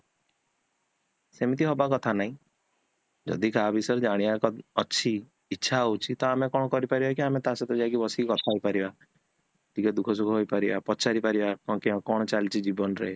ସେମିତି ହବା କଥା ନାହିଁ ଜଦି କାହା ବିଷୟରେ ଜାଣିବା ଅଛି ଇଚ୍ଛା ହୋଉଛି ତ ଆମେ ପରିବା କି ଆମେ ତା ସହିତ ବସିକି କଥା ହେଇ ପାରିବା, ଟିକେ ଦୁଃଖ ସୁଖ ହେଇ ପାରିବା, ପଚାରି ପାରିବା କଣ ଚାଲିଛି ଜୀବନରେ